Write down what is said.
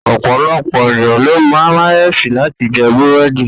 Ọ̀pọ̀lọ̀pọ̀ ènìyàn ló mayonnaise láti jẹ bẹ̀rẹ̀dì.